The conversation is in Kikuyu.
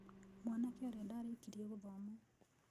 Mwanake ũrĩa ndaarĩkirie gũthoma.